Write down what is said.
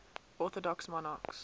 orthodox monarchs